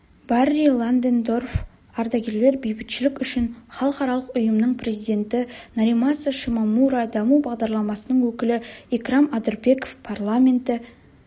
барри ландендорф ардагерлер бейбітшілік үшін халықаралық ұйымның президенті норимаса шимомура даму бағдарламасының өкілі икрам адырбеков парламенті